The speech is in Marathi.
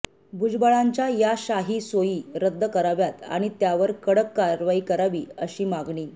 भुजबळांच्या या शाही सोयी रद्द कराव्यात आणि त्यावर कडक कारवाई करावी अशी मागणी